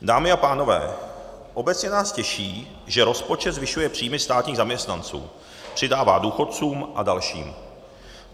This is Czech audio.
Dámy a pánové, obecně nás těší, že rozpočet zvyšuje příjmy státních zaměstnanců, přidává důchodcům a dalším.